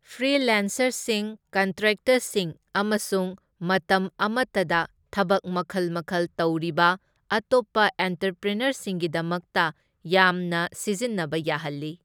ꯐ꯭ꯔꯤꯜꯌꯥꯟꯁꯥꯔꯁꯤꯡ, ꯀꯟꯇ꯭ꯔꯦꯛꯇꯔꯁꯤꯡ ꯑꯃꯁꯨꯡ ꯃꯇꯝ ꯑꯃꯇꯗ ꯊꯕꯛ ꯃꯈꯜ ꯃꯈꯜ ꯇꯧꯔꯤꯕ ꯑꯇꯣꯞꯄ ꯑꯦꯟꯇꯔꯄ꯭ꯔꯤꯅꯔꯁꯤꯡꯒꯤꯗꯃꯛꯇ ꯌꯥꯝꯅ ꯁꯤꯖꯤꯟꯅꯕ ꯌꯥꯍꯜꯂꯤ꯫